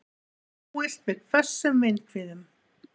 Búist við hvössum vindhviðum